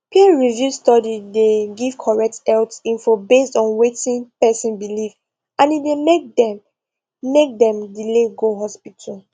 peerreviewed study dey give correct health info based on wetin person believe and e dey make dem make dem delay go hospital